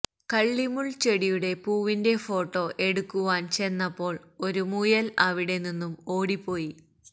കള്ളിമുള് ചെടിയുടെ പൂവിന്റെ ഫോട്ടോ എടുക്കുവാന് ചെന്നപ്പോള് ഒരു മുയല് അവിടെ നിന്നും ഓടി പോയി